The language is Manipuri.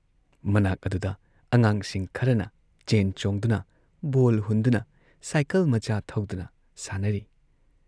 ꯃꯅꯥꯛ ꯑꯗꯨꯗ ꯑꯉꯥꯡꯁꯤꯡ ꯈꯔꯅ ꯆꯦꯟ ꯆꯣꯡꯗꯨꯅ, ꯕꯣꯜ ꯍꯨꯟꯗꯨꯅ ꯁꯥꯏꯀꯜ ꯃꯆꯥ ꯊꯧꯗꯨꯅ ꯁꯥꯟꯅꯔꯤ ꯫